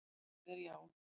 Svarið er já.